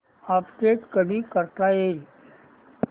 update कधी करता येईल